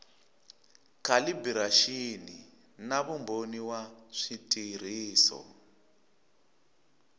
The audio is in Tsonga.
calibiraxini na vumbhoni wa switirhiso